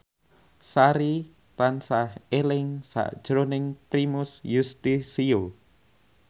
Sari tansah eling sakjroning Primus Yustisio